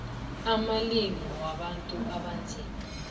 amalimi wabantu abanzima